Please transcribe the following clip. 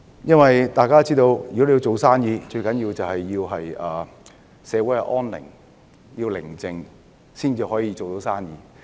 正如大家都知道，做生意的先決條件是社會安寧，社會寧靜，生意才能發展。